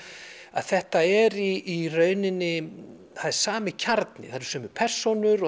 að þetta er í rauninni það er sami kjarni það eru sömu persónur